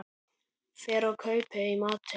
Fer og kaupi í matinn.